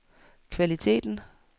kvaliteten